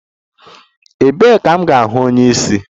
Ebee ka m ga-ahụ onye isi?